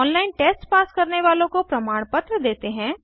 online test pass करने वालों को प्रमाणपत्र देते हैं